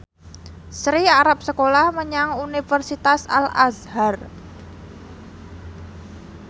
Sri arep sekolah menyang Universitas Al Azhar